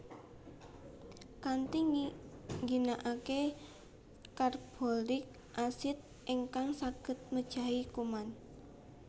Kanthi ngginakaken Carbolik Acid ingkang saged mejahi kuman